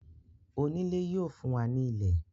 oniilẹ̀ yíò fún wá ní ilẹ̀.